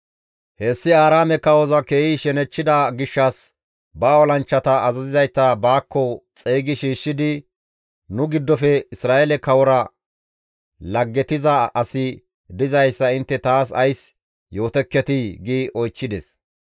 Hessi Aaraame kawoza keehi shenechchida gishshas ba olanchchata azazizayta baakko xeygi shiishshidi, «Nu giddofe Isra7eele kawora laggetiza asi dizayssa intte taas ays yootekketii?» gi oychchides.